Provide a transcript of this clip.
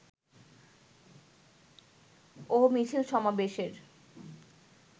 ও মিছিল সমাবেশের